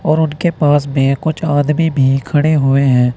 और उनके पास में कुछ आदमी भी खड़े हुए है।